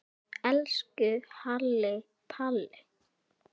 Elsku Halli Palli.